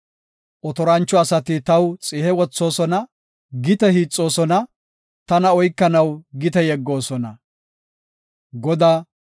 Otorancho asati taw xihe wothoosona; gite hiixoosona; tana oykanaw gite yeggoosona. Salaha